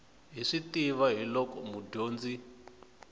hi swi tiva hiolko mudyondzi